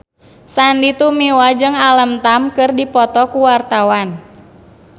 Sandy Tumiwa jeung Alam Tam keur dipoto ku wartawan